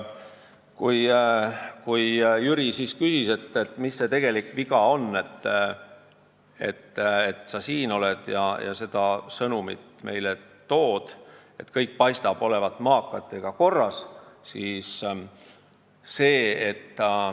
Jüri küsis, mis tegelikult viga on, et sa siin oled ja meile seda sõnumit tood, kõik paistab ju maakatega korras olevat.